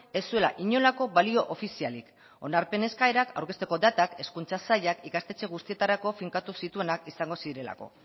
ez zuela inolako balio ofizialik onarpen eskaerak aurkezteko datak hezkuntza sailak ikastetxe guztietarako finkatu zituenak izango zirelako